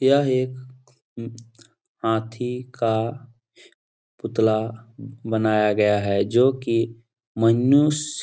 यह एक उम हाथी का पुतला बनाया गया है जो की मनुष्य --